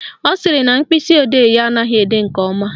Ọ sịrị na mkpịsịodee ya anaghị ede nke ọma